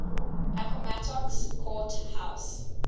appomattox court house